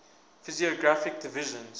physiographic divisions